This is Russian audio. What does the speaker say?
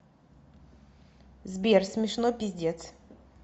сбер смешно пиздец